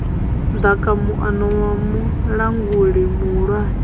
ḓaka muano wa mulanguli muhulwane